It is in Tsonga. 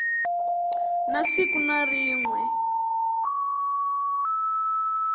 na siku na rin we